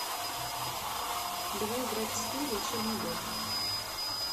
давай играть в скил волшебный бот